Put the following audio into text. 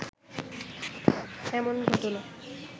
এমন ঘটনা